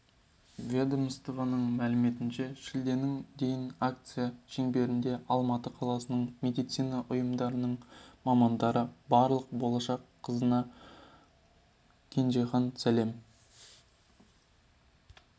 ведомствоның мәліметінше шілденің дейін акция шеңберінде алматы қаласының медицина ұйымдарының мамандары барлық болашақ қазына кенжехан сәлем